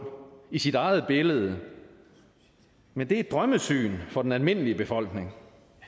i sit eget billede men det er et drømmesyn for den almindelige befolkning